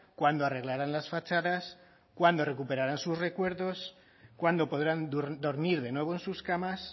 cuándo arreglarán las fachadas cuándo recuperarán sus recuerdos cuándo podrán dormir de nuevo en sus camas